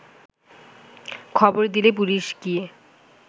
খবর দিলে পুলিশ গিয়ে